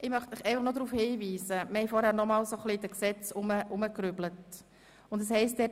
Ich möchte Sie noch auf Folgendes hinweisen: